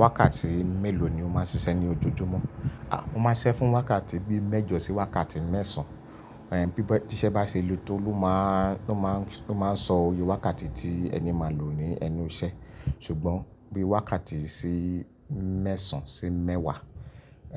Wákàtí mélòó ni o máa ń ṣiṣẹ́ ní ojoojúmọ́? A, mo máa ń ṣisẹ́ fún wákàtí bíi mẹ́jọ sí wákàtí mẹ́sàn-án. Ẹ̀ bí i tí iṣẹ́ bá ṣe le tó ló máa ń, ló máa ń, ló máa ń sọ oyè wákàtí tí ẹni máa lò ní ẹnu iṣẹ́. Ṣùgbọ́n bí i wákàtí sí mẹ́sàn-án sí mẹ́wàá,